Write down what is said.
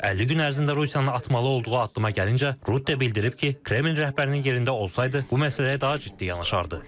50 gün ərzində Rusiyanın atmalı olduğu addıma gəlinincə, Rutte bildirib ki, Kreml rəhbərinin yerində olsaydı, bu məsələyə daha ciddi yanaşardı.